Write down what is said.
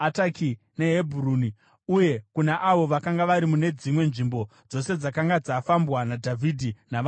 neHebhuroni; uye kuna avo vakanga vari mune dzimwe nzvimbo dzose dzakanga dzafambwa naDhavhidhi navanhu vake.